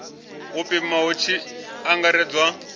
u pima hu tshi angaredzwa